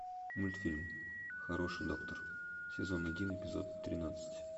мультфильм хороший доктор сезон один эпизод тринадцать